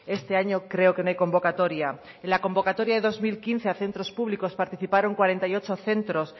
este año creo que no hay convocatoria en la convocatoria de dos mil quince a centros públicos participaron cuarenta y ocho centros